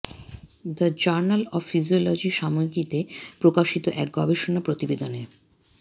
the journal of physiology সাময়িকীতে প্রকাশিত এক গবেষণা প্রতিবেদনে